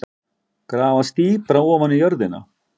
Grafast dýpra ofan í jörðina.